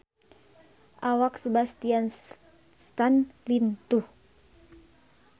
Awak Sebastian Stan lintuh